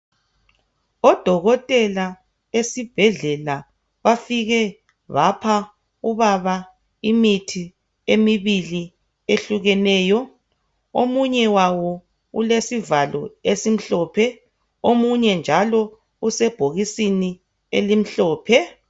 Odokotela esibhedlela bafike bapha ubaba imithi emibili ehlukeneyo omunye wawo ulesivalo esimhlophe omunye njalo usebhokisini elimhlophe.